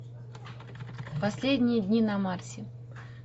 последние дни на марсе